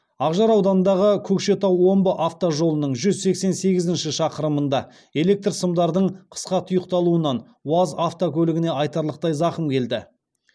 ақжар ауданындағы көкшетау омбы автожолының жүз сексен сегізінші шақырымында электр сымдардың қысқа тұйықталуынан уаз автокөлігіне айтарлықтай зақым келді